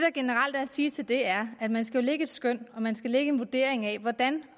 at sige til det er at man jo skal lægge et skøn og man skal lægge en vurdering af hvordan